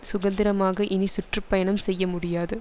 சுதந்திரமாக இனி சுற்று பயணம் செய்ய முடியாது